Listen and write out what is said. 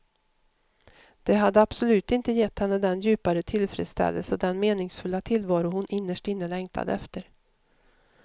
Det hade absolut inte gett henne den djupare tillfredsställelse och den meningsfulla tillvaro hon innerst inne längtade efter.